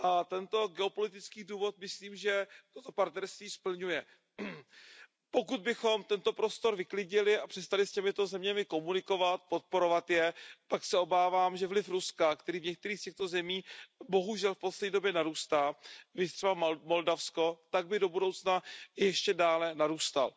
Tento geopolitický důvod myslím, že toto partnerství splňuje. Pokud bychom tento prostor vyklidili a přestali s těmito zeměmi komunikovat, podporovat je, tak se obávám, že vliv Ruska, který v některých z těchto zemí bohužel v poslední době narůstá, viz třeba Moldavsko, by do budoucna ještě dále narůstal.